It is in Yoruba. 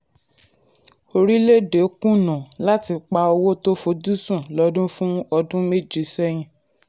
orílẹ̀-èdè kùnà orílẹ̀-èdè kùnà láti pa owó tó fojúsùn lọ́dún fún ọdún méje sẹ́yìn.